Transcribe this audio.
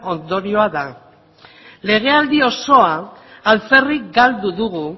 ondorioa da legealdi osoa alferrik galdu dugu